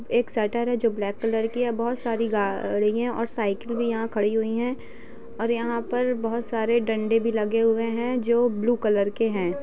एक शटर है जो ब्लैक कलर की है। बोहोत सारी गाड़ियाँ और साइकल भी यहाँ खड़ी हुई है। और यहाँ पर बोहोत सारे डंडे भी लगे हुए है। जो ब्लू कलर के है।